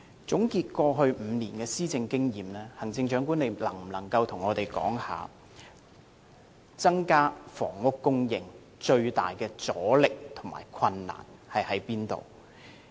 總結過去5年的施政經驗，行政長官能否向我們指出，增加房屋供應最大的阻力及困難在哪裏？